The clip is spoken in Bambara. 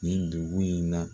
Nin dugu in na